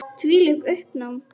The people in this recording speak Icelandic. Þvílíkt uppnám.